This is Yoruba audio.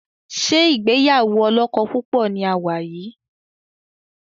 ṣe ìgbéyàwó olókó púpò ní a wá yí?